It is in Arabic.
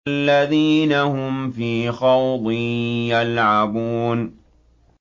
الَّذِينَ هُمْ فِي خَوْضٍ يَلْعَبُونَ